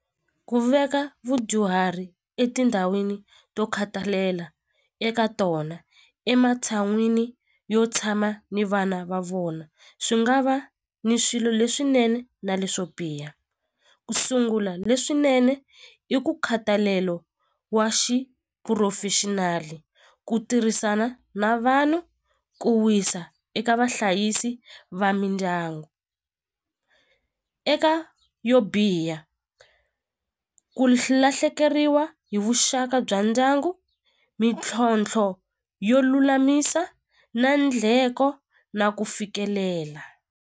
Ku veka vudyuhari etindhawini to khatalela eka tona ematshan'wini yo tshama ni vana va vona swi nga va ni swilo leswinene na leswo biha ku sungula leswinene i ku khatalelo wa xiphurofexinali ku tirhisana na vanhu ku wisa eka vahlayisi va mindyangu eka yo biha ku lahlekeriwa hi vuxaka bya ndyangu mintlhontlho yo lulamisa na ndlheko na ku fikelela.